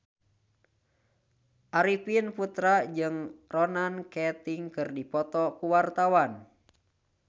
Arifin Putra jeung Ronan Keating keur dipoto ku wartawan